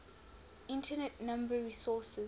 internet number resources